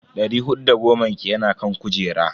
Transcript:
Dari hudu da goman ki yana kan kujera.